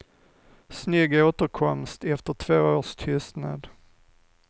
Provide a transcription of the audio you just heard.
Snygg återkomst efter två års tystnad.